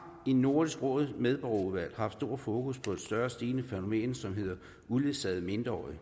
i nordisk råds medborgerudvalg haft stor fokus på et større og stigende fænomen som hedder uledsagede mindreårige